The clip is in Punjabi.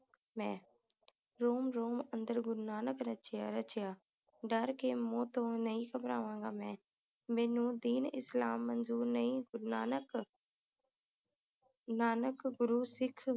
ਮੈਂ ਰੋਮ ਰੋਮ ਅੰਦਰ ਗੁਰੂ ਨਾਨਕ ਰਚਿਆ ਰਚਿਆ ਡਰ ਕੇ ਮੌਤ ਤੋਂ ਨਹੀਂ ਘਬਰਾਵਾਂਗਾ ਮੈਂ ਮੈਨੂੰ ਦੀਨ ਇਸਲਾਮ ਮੰਜੂਰ ਨਹੀਂ ਗੁਰੂ ਨਾਨਕ ਨਾਨਕ ਗੁਰੂ ਸਿੱਖ